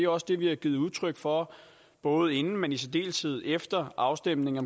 også det vi har givet udtryk for både inden men i særdeleshed efter afstemningen